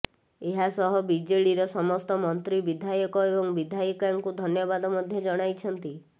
ଏହାସହ ବିଜେଡ଼ିର ସମସ୍ତ ମନ୍ତ୍ରୀ ବିଧାୟକ ଏବଂ ବିଧାୟିକାଙ୍କୁ ଧନ୍ୟବାଦ ମଧ୍ୟ ଜଣାଇଛନ୍ତି